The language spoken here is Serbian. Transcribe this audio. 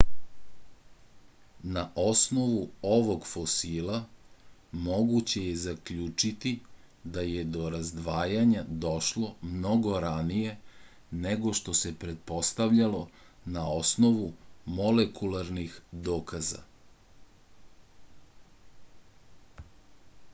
na osnovu ovog fosila moguće je zaključiti da je do razdvajanja došlo mnogo ranije nego što se pretpostavljalo na osnovu molekularnih dokaza